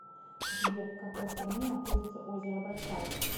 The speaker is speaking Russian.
сбер в какой стране находится озеро байкал